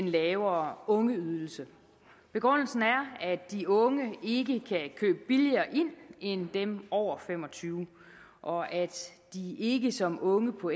den lavere ungeydelse begrundelsen er at de unge ikke kan købe billigere ind end dem over fem og tyve år og at de ikke som unge på